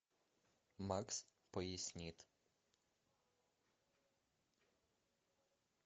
макс пояснит